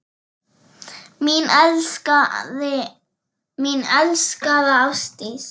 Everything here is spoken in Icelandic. Mín elskaða Ásdís.